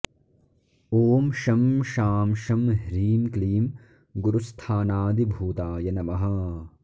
ॐ शं शां षं ह्रीं क्लीं गुरुस्थानादिभूताय नमः